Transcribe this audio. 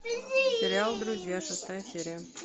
сериал друзья шестая серия